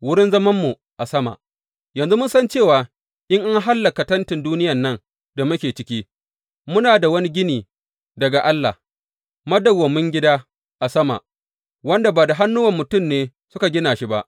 Wurin zamanmu a sama Yanzu mun san cewa in an hallaka tentin duniyan nan da muke ciki, muna da wani gini daga Allah, madawwamin gida a sama, wanda ba da hannuwan mutum ne suka gina shi ba.